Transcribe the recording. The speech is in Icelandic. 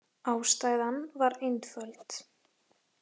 Ástæðan var einföld.